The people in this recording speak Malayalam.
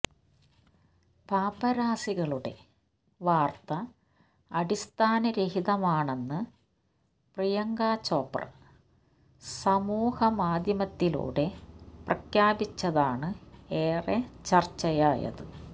പാപ്പരാസികളുടെ വാർത്ത അടിസ്ഥാന രഹിതമാണെന്ന് പ്രിയങ്കാ ചോപ്ര സമൂഹ മാധ്യമത്തിലൂടെ പ്രഖ്യാപിച്ചതാണ് ഏറെ ചർച്ചയായത്